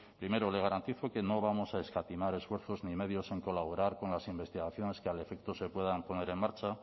primero le garantizo que no vamos a escatimar esfuerzos ni medios en colaborar con las investigaciones que al efecto se puedan poner en marcha